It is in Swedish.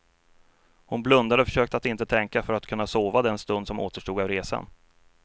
Hon blundade och försökte att inte tänka för att kunna sova den stund som återstod av resan.